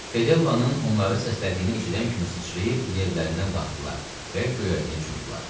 Fedellanın onları səslədiyini eşidən kimi sıçrayıb yerlərindən qalxdılar və göyərtəyə cumdular.